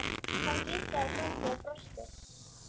Hann kinkaði kolli og brosti.